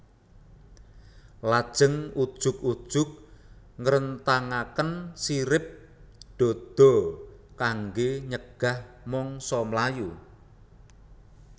Lajeng ujug ujug ngrentangaken sirip dada kanggé nyegah mangsa mlayu